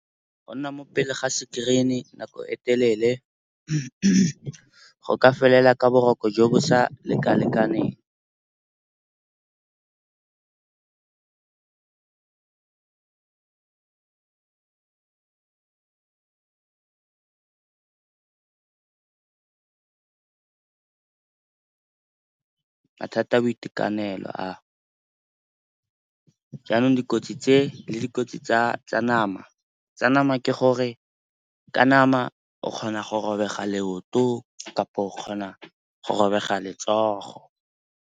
Go nna mo pele ga screen-e nako e telele go ka felela ka boroko jo bo sa lekalekaneng, mathata a boitekanelo. Jaanong dikotsi tse le dikotsi tsa nama ke gore ka nama o kgona go robega leoto kapa o kgona go robega letsogo.